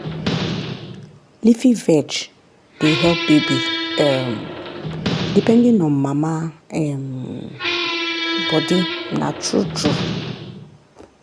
leafy veg dey help baby um depending on mama um body na true true.